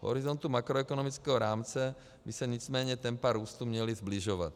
V horizontu makroekonomického rámce by se nicméně tempa růstu měla sbližovat.